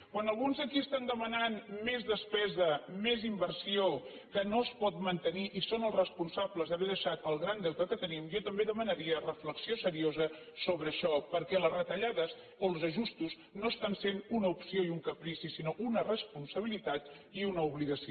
quan alguns aquí demanen més despesa més inversió que no es pot mantenir i són els responsables d’haver deixat el gran deute que tenim jo també demanaria reflexió seriosa sobre això perquè les retallades o els ajustos no són una opció i un caprici sinó una responsabilitat i una obligació